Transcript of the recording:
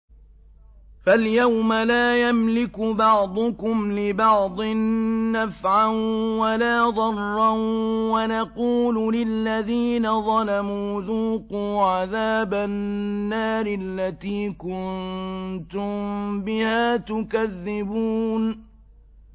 فَالْيَوْمَ لَا يَمْلِكُ بَعْضُكُمْ لِبَعْضٍ نَّفْعًا وَلَا ضَرًّا وَنَقُولُ لِلَّذِينَ ظَلَمُوا ذُوقُوا عَذَابَ النَّارِ الَّتِي كُنتُم بِهَا تُكَذِّبُونَ